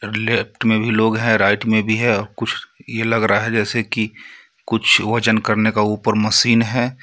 Left में भी लोग हैं राइट में भी है कुछ ये लग रहा है जैसे की कुछ वजन करने का ऊपर मशीन है.